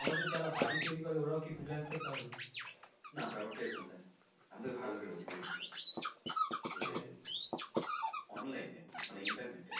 আমাদের যারা বাড়ি তৈরি করে ওরাও কি freelancer তাহলে?